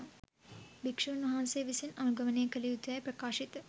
භික්ෂූන් වහන්සේ විසින් අනුගමනය කළ යුතුයැයි ප්‍රකාශිත